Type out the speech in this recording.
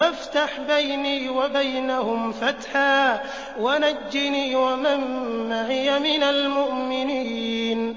فَافْتَحْ بَيْنِي وَبَيْنَهُمْ فَتْحًا وَنَجِّنِي وَمَن مَّعِيَ مِنَ الْمُؤْمِنِينَ